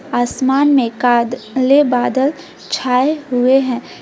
आसमान में काले बादल छाए हुए हैं।